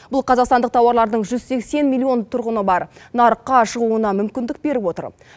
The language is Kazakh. бұл қазақстандық тауарлардың жүз сексен миллион тұрғыны бар нарыққа шығуына мүмкіндік беріп отыр